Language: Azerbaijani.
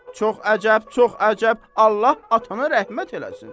Çox əcəb, çox əcəb, Allah atana rəhmət eləsin.